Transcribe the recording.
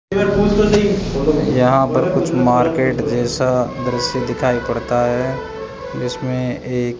यहां पर कुछ मार्केट जैसा दृश्य दिखाई पड़ता है जिसमें एक --